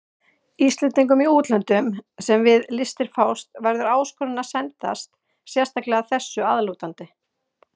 Íslendingum í útlöndum, sem við listir fást, verður áskorun að sendast sérstaklega þessu að lútandi.